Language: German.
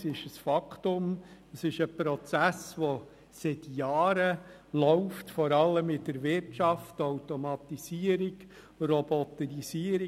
Sie ist ein Fakt und ein Prozess, der seit Jahren läuft, vor allem in der Wirtschaft: Automatisierung, Roboterisierung.